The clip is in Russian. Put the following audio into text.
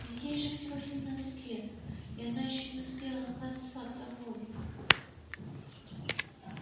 ведь ей же всего семнадцать лет и она ещё не успела натанцеваться вволю